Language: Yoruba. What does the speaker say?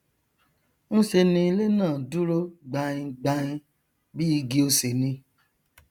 nṣe ni ilé náà dúró gbaingbain bí igi osè ni